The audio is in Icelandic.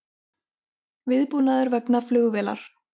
Viðbúnaður vegna flugvélar